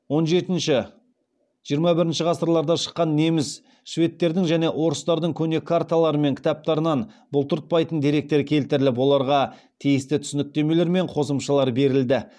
он жетінші жиырма бірінші ғасырларда шыққан неміс шведтердің және орыстардың көне карталары мен кітаптарынан бұлтыртпайтын деректер келтіріліп оларға тиісті түсініктемелер мен қосымшамалар берілді